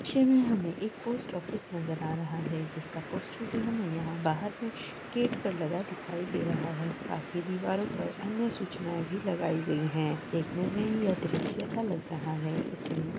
हमे एक post office नजर आ रहा है जिसका पोस्टर हमें बहार एक गेट पे लगा दिखाई दे रहा है और साथी दीवारों पर अन्य सूचनाएं भी लगाई गईहे देखने में ये अदृश्य सा लग रहा है इसमें --